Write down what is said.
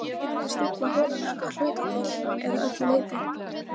Þetta gæti stíflað holurnar að hluta til eða öllu leyti.